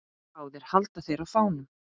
Báðir halda þeir á fánum.